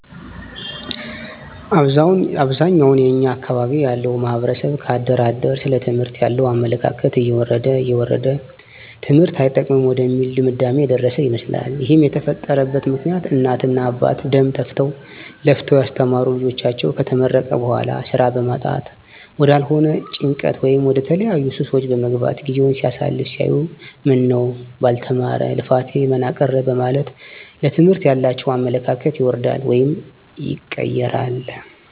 አብዛኛውን የኛ አካባቢ ያለው ማህበረሰብ ከአደር አደር ስለ ትምህርት ያለው አመለካከት እየወረደ እየወረደ ትምህርት አይጠቅምም ወደሚል ድምዳሜ የደረሰ ይመስላል ይህም የተፈጠረበት ምክኒያት እናት እና አባት ደም ተፍተው ለፍተው ያስተማሩት ልጃቸው ከተመረቀ በኋላ ስራ በማጣት ወዳልሆነ ጭንቀት ወይም ወደተለያዩ ሱሶች በመግባት ጊዜውን ሲያሳልፍ ሲያዩት ምነው ባልተማረ ልፋቴ መና ቀረ በማለት ለትምህርት ያላቸው አመለካከት ይወርዳል ወይም ይቀየራል